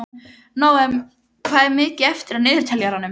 Nóam, hvað er mikið eftir af niðurteljaranum?